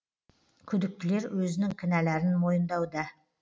күдіктілер өзінің кінәларын мойындауда